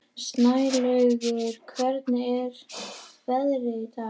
Snælaugur, hvernig er veðrið í dag?